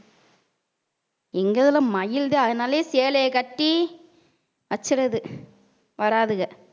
எங்க இதுல மயில்தான் அதனாலயே சேலைய கட்டி வச்சுறுது வராதுக